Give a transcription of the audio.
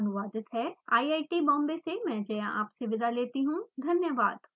यह स्क्रिप्ट श्रुति आर्य द्वारा अनुवादित है आई आई टी बॉम्बे से मैं जया आपसे विदा लेती हूँ धन्यवाद